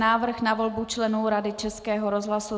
Návrh na volbu členů Rady Českého rozhlasu